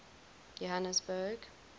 johanesburg